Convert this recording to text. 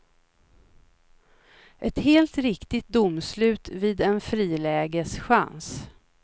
Ett helt riktigt domslut vid en frilägeschans.